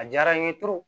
A diyara n ye